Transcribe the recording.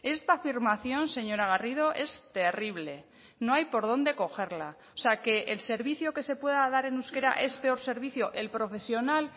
esta afirmación señora garrido es terrible no hay por dónde cogerla o sea que el servicio que se pueda dar en euskera es peor servicio el profesional